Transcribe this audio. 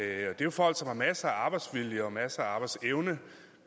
er jo folk som har masser af arbejdsvilje og masser af arbejdsevne